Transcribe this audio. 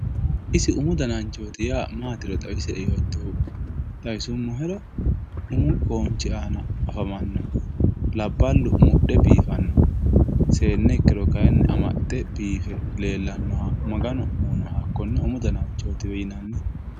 isi umu dananchoti yaa matiro xawisie yotohu xawisumohero umu qonchi ana afamanoho labalu mudhe bifano sene ikiro kayinni amaxe bife lelanoha maganu uyinoha kone umu dananchotiwe yinanni